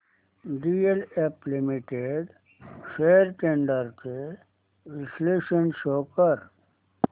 DLF limited shares trends चे विश्लेषण show कर